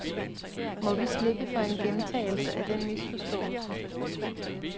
Må vi slippe for en gentagelse af den misforståelse.